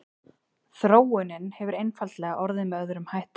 Þróunin hefur einfaldlega orðið með öðrum hætti.